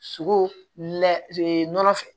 Sogo lɛ nɔnɔ fɛ